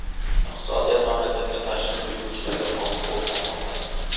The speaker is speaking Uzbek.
Iqtisodiyot mamlakatga tashrif buyuruvchilarga bog‘liq bo‘lib qolmoqda.